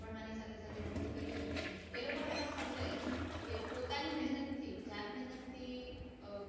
ભણવાની સાથે સાથે નોકરી કરી શકે ને એ લોકોને પણ સમજાય કે પોતાની મહેનતથી જાત મેહનતથી